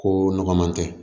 Ko nɔgɔ man kɛ